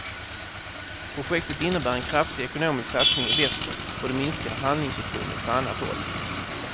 Projektet innebär en kraftig ekonomisk satsning i väster och det minskar handlingsutrymmet på annat håll.